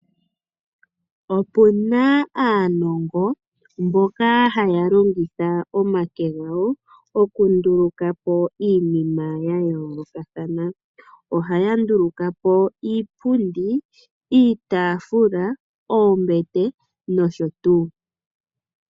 Opuna aanongo mboka haya longitha omake gawo okunduluka po iinima yayoolokatahana, ohaya nduluka po iipundi, iitafula, oombete nosho tuu.